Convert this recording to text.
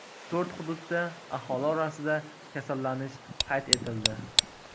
To‘rt hududda aholi orasida kasallanish qayd etildi.